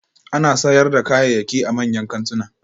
Ana sayar da kayayyaki a manyan kantuna